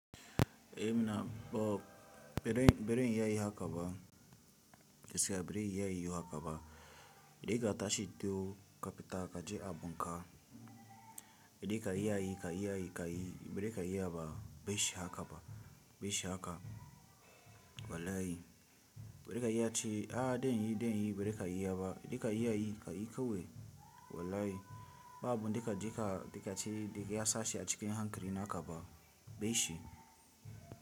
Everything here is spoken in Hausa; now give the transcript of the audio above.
Eh mina Bob, bere in yi a yi haka ba, gaskiya bere yi a yi haka ba. Da yana tashi ido ka fita ka je abun ka. Da kai yi a yi, ka yi a yi, ka yi, bere ka yi haka ba, bashi haka ba, bashi haka. Wallahi. Bere ka yi a ce a dain yi, dain yi, bere ka yi haka ba. Da ka yi a yi, ka yi kawai. Wallahi. Babu duka jika, duka ce, duka ya sashi a cikin hankali naka ba. Bashi.